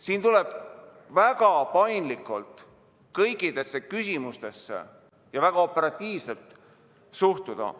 Siin tuleb väga paindlikult ja väga operatiivselt kõikidesse küsimustesse suhtuda.